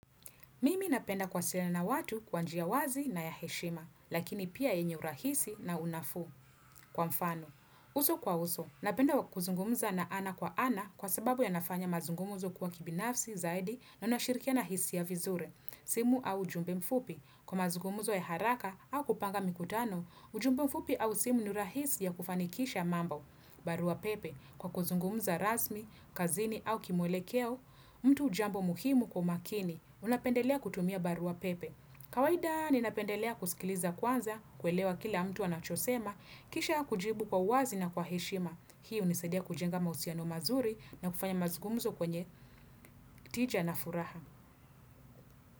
Mimi napenda kuwasiliana na watu kwa njia wazi na ya heshima, lakini pia yenye urahisi na unafu. Kwa mfano, uso kwa uso, napenda kuzungumza na ana kwa ana kwa sababu yanafanya mazungumzo kuwa kibinafsi zaidi na unashirikia na hisia vizuri, simu au ujumbe mfupi. Kwa mazungumzo ya haraka au kupanga mikutano, ujumbe mfupi au simu ni urahisi ya kufanikisha mambo. Barua pepe, kwa kuzungumza rasmi, kazini au kimwelekeo, mtu jambo muhimu kwa makini. Unapendelea kutumia barua pepe. Kawaida, ninapendelea kusikiliza kwanza, kuelewa kila mtu anachosema, kisha kujibu kwa uwazi na kwa heshima. Hii hunisadia kujenga mahusiano mazuri na kufanya mazungumzo kwenye tija na furaha.